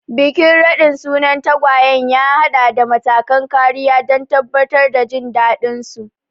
Bikin raɗin sunan tagwayen ya haɗa da matakan kariya don tabbatar da jin daɗinsu.